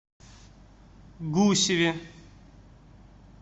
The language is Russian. гусеве